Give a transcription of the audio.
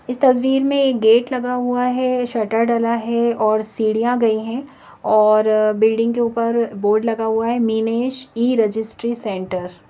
इस तस्वीर में एक गेट लगा हुआ है शर्टर डाला है और सीढ़ियां गई हैं और बिल्डिंग के ऊपर बोर्ड लगा हुआ है मीनेश ई रजिस्ट्री सेंटर ।